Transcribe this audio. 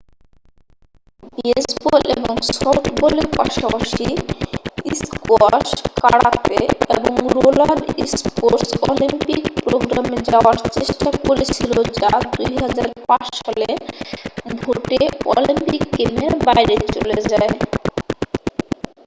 baseball এবং সফটবলের পাশাপাশি স্কোয়াশ কারাতে এবং রোলার স্পোর্টস অলিম্পিক প্রোগ্রামে যাওয়ার চেষ্টা করেছিল যা 2005 সালে ভোটে অলিম্পিক গেমের বাইরে চলে যায়